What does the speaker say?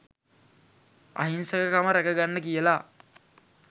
අහිංසක කම රැක ගන්න කියලා